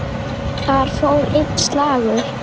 Þar fór einn slagur.